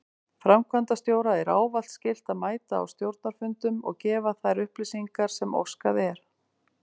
Framkvæmdastjóra er ávallt skylt að mæta á stjórnarfundum og gefa þær upplýsingar sem óskað er.